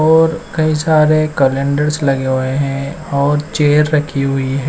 और कई सारे कलेंडर्स लगे हुए हैं और चेयर रखी हुई--